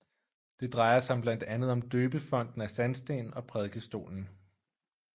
Det drejer sig blandt andet om døbefonten af sandsten og prædikestolen